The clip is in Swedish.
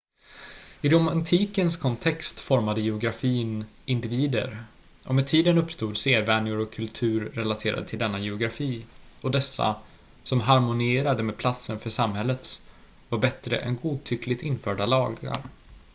i romantikens kontext formade geografin individer och med tiden uppstod sedvänjor och kultur relaterade till denna geografi och dessa som harmonierade med platsen för samhällets var bättre än godtyckligt införda lagar